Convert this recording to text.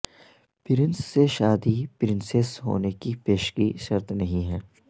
prince سے شادی princess ہونے کی پیشگی شرط نہیں ہے